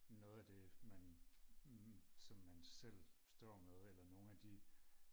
noget af det man som man selv står med eller nogle af de